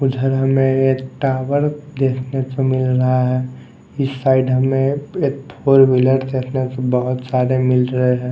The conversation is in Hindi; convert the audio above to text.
उधर हमें ये टावर देखने को मिल रहा हैं इस साइड हमें एक फोर व्हीलर देखने को बहुत सारे मिल रहे हैं।